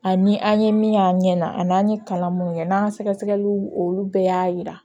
Ani an ye min y'an ɲɛ na an'an ye kalan mun kɛ n'an ka sɛgɛ sɛgɛliw olu bɛɛ y'a yira